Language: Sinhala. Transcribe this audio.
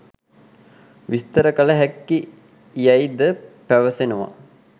විස්තර කළ හැකි යැයි ද පැවසෙනවා.